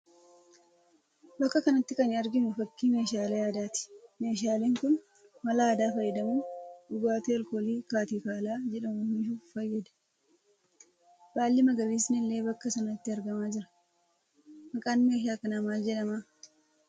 Bakka kanatti kan arginu fakkii meeshaalee aadaati. Meeshaaleen kun mala aadaa fayyadamuun dhugaatii alkoolii kaatikaalaa jedhamu oomishuuf fayyada. Baalli magariisni illee bakka sanatti argamaa jira. Maqaan meeshaa kanaa maal jedhama?